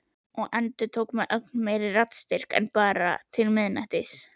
Og endurtók með ögn meiri raddstyrk: En bara til miðnættis.